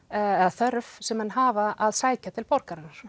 eða þörf sem menn hafa að sækja til borgarinnar